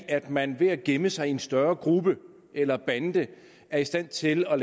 at man ved at gemme sig i en større gruppe eller bande er i stand til at